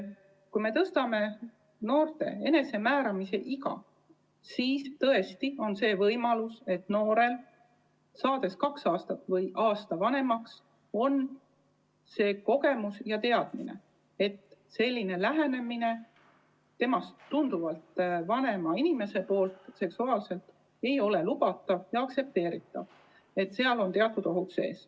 Kui me tõstame noorte seksuaalse enesemääramise eapiiri, siis on võimalus, et saades aasta või kaks vanemaks, on noortel juba kogemus ja teadmine, et neist tunduvalt vanema inimese seksuaalsed lähenemiskatsed ei ole lubatud ja et sellega kaasnevad teatud ohud.